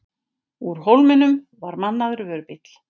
Úr Hólminum var mannaður vörubíll.